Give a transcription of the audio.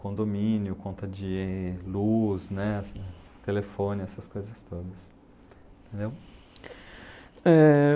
condomínio, conta de luz, né, telefone, essas coisas todas, entendeu? Eh...